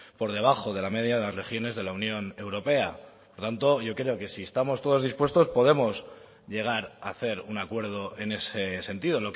por debajo de la media de las regiones de la unión europea por lo tanto yo creo que si estamos todos dispuestos podemos llegar a hacer un acuerdo en ese sentido